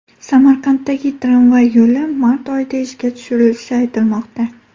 Samarqanddagi tramvay yo‘li mart oyida ishga tushirilishi aytilmoqda.